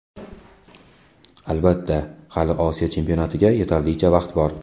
Albatta, hali Osiyo chempionatigacha yetarlicha vaqt bor.